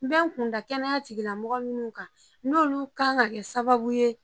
N bɛ kunda kɛnɛya tigilamɔgɔ minnu kan n'olu kan ka kɛ sababu ye